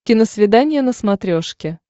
киносвидание на смотрешке